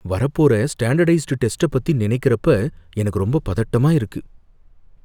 வரப்போற ஸ்டாண்டடைஸ்டு டெஸ்ட்ட பத்தி நனைக்கிறப்ப எனக்கு ரொம்ப பதட்டமா இருக்கு.